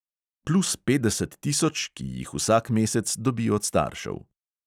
Plus petdeset tisoč, ki jih vsak mesec dobi od staršev.